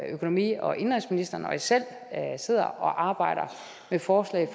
økonomi og indenrigsministeren og jeg selv sidder og arbejder med forslag